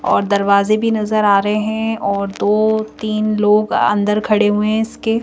और दरवाजे भी नजर आ रहे हैं और दो-तीन लोग अंदर खड़े हुए हैं इसके--